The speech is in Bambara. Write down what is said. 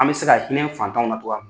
An bɛ se ka hinɛ fantanw na cogoya min na.